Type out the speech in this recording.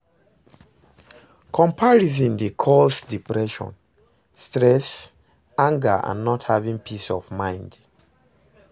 Comparison dey cause depression stress, anger and not having peace of mind.